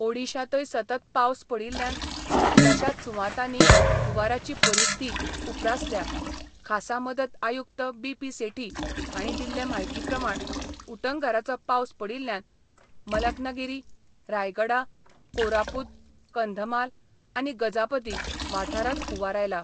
ओडिशांतय सतत पावस पडिल्ल्यान कितल्याशाच सुवातांनी हुंवाराची परिस्थिी उप्रासल्या खासा मदत आयुक्त बीपी सेठी हांणी दिल्ले म्हायती प्रमाण उटंगराचो पावस पडिल्ल्यान मलकनगिरी, रायगडा, कोरापूत, कंधमाल आनी गजापती वाठारांत हुंवार आयला.